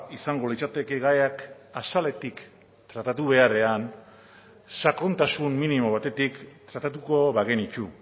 izango litzateke gaiak azaletik tratatu beharrean sakontasun minimo batetik tratatuko bagenitu